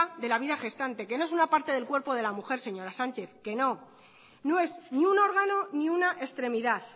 de la vida gestante que no es una parte del cuerpo de la mujer que no no es ni un órgano ni una extremidad